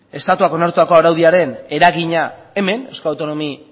estatuak onartutako araudiaren eragina hemen eusko autonomi